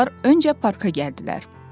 Onlar öncə parka gəldilər.